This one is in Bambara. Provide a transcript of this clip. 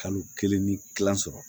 Kalo kelen ni kila sɔrɔ